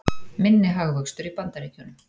Minni hagvöxtur í Bandaríkjunum